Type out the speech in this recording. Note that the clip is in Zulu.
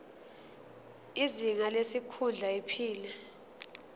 izinga lesikhundla iphini